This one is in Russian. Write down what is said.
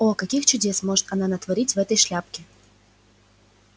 о каких чудес может она натворить в этой шляпке